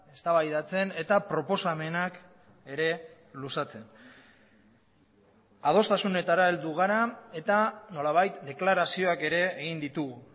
eztabaidatzen eta proposamenak ere luzatzen adostasunetara heldu gara eta nolabait deklarazioak ere egin ditugu